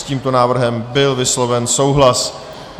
S tímto návrhem byl vysloven souhlas.